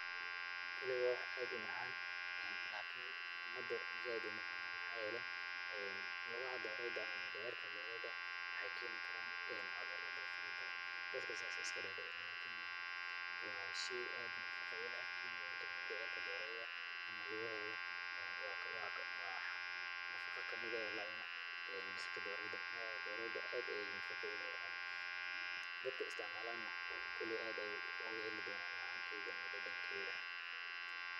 Kolay waa wax aad u macaan. lakini umada zaaid uma cunaan. Maxaa yeelay, lugaha dooreyda ama mindhicirka dooreyda waxaay keeni karaan cuduro farabadan, dadka saas ayaay iska dhac dhiciyaan lakini ma'ahan. Waa shay aad nafaqa u leh in aad cunto mindhicirka dooreyda ama luga heeda. Waa nafaqa ka mid eh oo la cuno jirka dooreyda. Maxaa yeelay, dooreyda aad ayaay nafaqa u leedahay. Dadka istacmaalana kolay aad ayuu ugu heli doonaa macaan keeda ama dhadhan keeda.